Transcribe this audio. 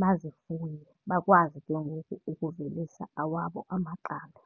bazifuye, bakwazi ke ngoku ukuvelisa awabo amaqanda.